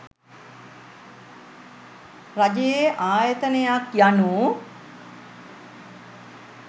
රජයේ ආයතනයක් යනු